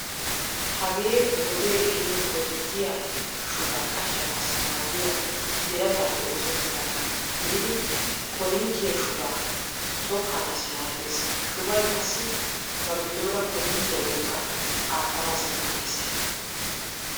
Hagee wodee ehiido korinttiyaa shubaa qachchanaassi maaddiya birataappe oosettidaagaa gididi korinttiyaa shubaa tookkanaassi maaddees. Shubay qassi ba giddoora korinttiyaa wolqqaa aattanaassi maaddeees.